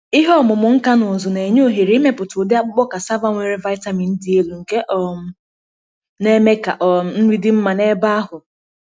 ihe ọmụmụ nka na ụzụ na-enye ohere ịmepụta ụdị akpụkpọ cassava nwere vitamin dị elu, nke um na-eme ka um nri dị mma n’ebe ahụ.